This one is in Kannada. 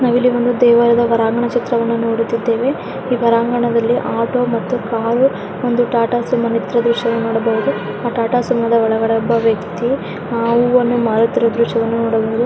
ನಾವು ಇಲ್ಲಿ ಒಂದು ದೇವಾಲಯದ ಹೊರಾಂಗಣದ ಚಿತ್ರವನ್ನು ನೋಡುತ್ತಿದ್ದೇವೆ ಈ ಹೊರಾಂಗಣದಲ್ಲಿ ಆಟೋ ಮತ್ತು ಕಾರು ಒಂದು ಟ್ಯಾಟೂ ಸುಮಾ ನಿಂತಿರೋ ದ್ರಶ್ಯವನ್ನು ನೋಡಬಹುದು ಆ ಟಾಟಾ ಸುಮೋದ ಒಳಗಡೆ ಒಬ್ಬ ವ್ಯಕ್ತಿ ಅಹ್ ಹೂವನ್ನು ಮಾರುತ್ತಿರುವ ದೃಶ್ಯವನ್ನು ನೋಡಬಹುದು.